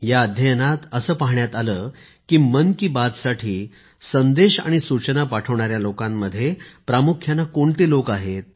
या अध्ययनात असे आढळले की मन की बात साठी संदेश आणि सूचना पाठवणाऱ्या लोकांमध्ये प्रामुख्याने कोणते लोक आहेत